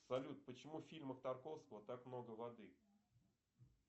салют почему в фильмах тарковского так много воды